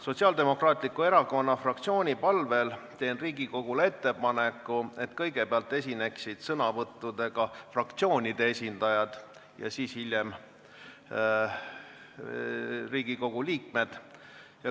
Sotsiaaldemokraatliku Erakonna fraktsiooni palvel teen ettepaneku, et kõigepealt esinevad sõnavõtuga fraktsioonide esindajad ja siis hiljem teised Riigikogu liikmed.